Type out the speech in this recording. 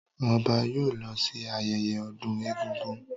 Ọba yóò lọ sí ayẹyẹ ọdún egúngún.